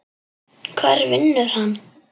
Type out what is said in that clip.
Hvar vinnur hann?